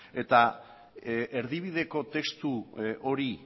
eta erdibideko testu hori